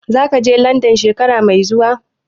Zaka je Landan shekara mai zuwa?